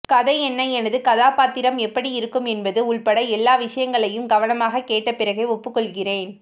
கதை என்ன எனது கதாபாத்திரம் எப்படி இருக்கும் என்பது உள்பட எல்லா விஷயங்களையும் கவனமாக கேட்ட பிறகே ஒப்புக்கொள்கிறேன்